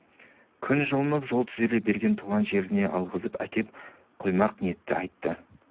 күн жылынып жол түзеле бере туған жеріне алғызып әкеп қоймақ ниетті айтты